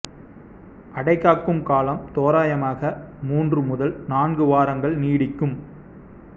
அடைகாக்கும் காலம் தோராயமாக மூன்று முதல் நான்கு வாரங்கள் நீடிக்கும்